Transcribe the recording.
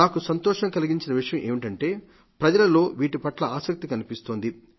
నాకు సంతోషం కలిగించిన విషయం ఏమిటంటే ప్రజలలో వీటిపట్ల ఆసక్తి కనిపిస్తోంది